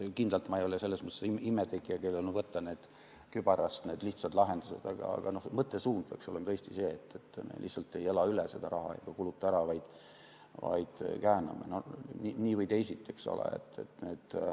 Kindlalt ei ole ma selles mõttes imetegija, kellel on kübarast võtta lihtsad lahendused, aga mõttesuund peaks olema tõesti see, et me lihtsalt ei ela sellest rahast ega kuluta seda ära, vaid kääname nii või teisiti.